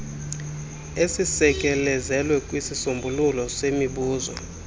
esisekelezelwe kwisisombululo semibuso